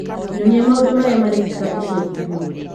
nyonia maũndũ marĩa marekĩka ica ikuhĩ